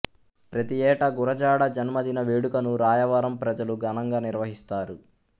ప్రతి ఏటా గురజాడ జన్మదిన వేడుకను రాయవరం ప్రజలు ఘనంగా నిర్వహిస్తారు